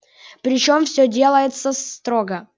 причём всё делается строго